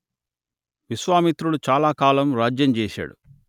విశ్వామిత్రుడు చాలా కాలం రాజ్యం చేశాడు